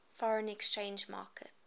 foreign exchange market